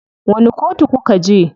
Wani kotu kuka je?